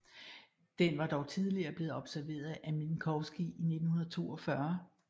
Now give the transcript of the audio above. Den var dog tidligere blevet observeret af Minkowski i 1942